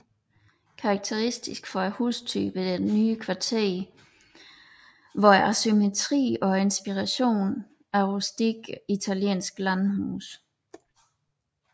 Karakteristisk for hustypen i det nye kvarter var asymmetrien og inspirationen fra rustikke italienske landhuse